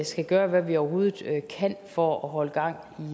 skal gøre hvad vi overhovedet kan for at holde gang